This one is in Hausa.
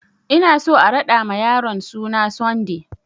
Ina so a raɗa ma yaron suna Sunday!